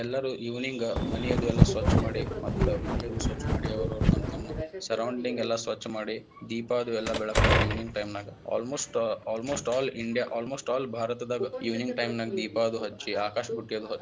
ಎಲ್ಲರು evening ಮನೆಯದು ಎಲ್ಲಾ ಸ್ವಚ್ ಮಾಡಿ ಮತ್ತ ಮನೆಯದು ಎಲ್ಲಾ ಸ್ವಚ್ ಮಾಡಿ ಅವ್ರ ತಮ್ಮ್~ ತಮ್ಮ್ surrounding ಎಲ್ಲಾ ಸ್ವಚ್ಚ್ ಮಾಡಿ ದೀಪ ಅದು ಎಲ್ಲಾ ಬೆಳಗತಾರ್ evening time ನಾಗ almost all India almost all ಭಾರತದಾಗ evening time ನಾಗ ದೀಪಾ ಅದು ಹಚ್ಚಿ ಆಕಾಶ ಬುಟ್ಟಿ ಅದು.